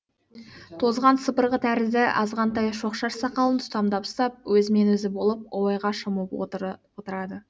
тозған сыпырғы тәрізді азғантай шоқша сақалын тұтамдап ұстап өзімен өзі болып ойға шомып отырады